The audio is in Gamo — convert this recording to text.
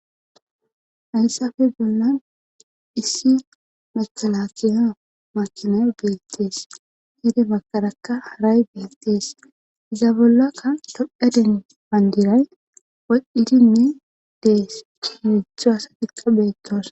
Hayssafe bolla issi makalakiyo makinay beettees hede bakadaka haray beettees iza bollakka dophaden bandiray wa7idinne dees imucha asa tiqqa beettoos.